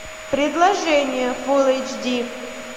предложение фулл эйч ди